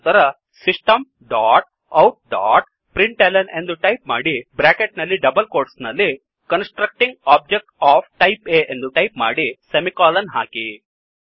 ನಂತರ system dot out dot println ಎಂದು type ಮಾಡಿ ಬ್ರ್ಯಾಕೆಟ್ ನಲ್ಲಿ ಡಬಲ್ ಕೋಟ್ಸ್ ನಲ್ಲಿ constructing object of type A ಎಂದು ಟೈಪ್ ಮಾಡಿ ಸೆಮಿಕೋಲನ್ ಹಾಕಿ